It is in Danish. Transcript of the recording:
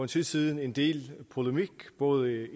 tid siden en del polemik både